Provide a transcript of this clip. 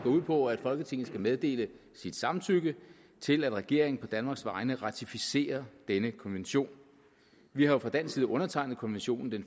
ud på at folketinget skal meddele sit samtykke til at regeringen på danmarks vegne ratificerer denne konvention vi har jo fra dansk side undertegnet konventionen den